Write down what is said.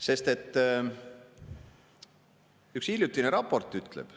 Sest üks hiljutine raport ütleb ...